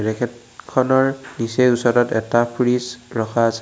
Racket খনৰ নিচেই ওচৰত এটা ফ্ৰিজ ৰখা আছে।